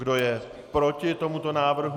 Kdo je proti tomuto návrhu?